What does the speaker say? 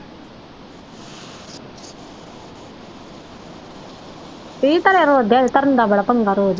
ਕੀ ਧਰਿਆ ਰੋਜ਼ ਧਰਨ ਦਾ ਬੜਾ ਪੰਗਾ ਰੋਜ਼।